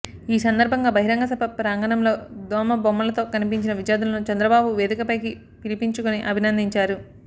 ఈ సందర్భంగా బహిరంగ సభ ప్రాంగణంలో దోమ బొమ్మలతో కనిపించిన విద్యార్థులను చంద్రబాబు వేదికపైకి పిలిపించుకుని అభినందించారు